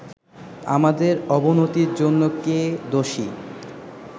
আমাদের অবনতির জন্য কে দোষী